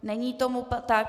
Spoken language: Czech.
Není tomu tak.